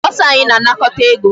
Bursar anyị na-anakọta ego.